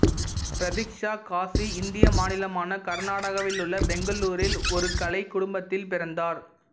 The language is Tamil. பிரதீக்சா காசி இந்திய மாநிலமான கர்நாடகாவிலுள்ள பெங்களூரில் ஒரு கலைக் குடும்பத்தில் பிறந்தார்